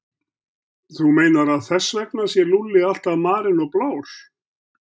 Þú meinar að þess vegna sé Lúlli alltaf marinn og blár?